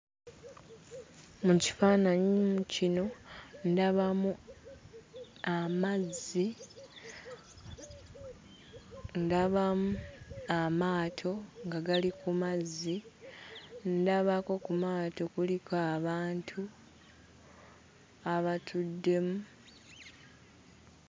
Mu kifaananyi mm kino ndabamu amazzi ndabamu amaato nga gali ku mazzi ndabako ku maato kuliko abantu abatuddemu.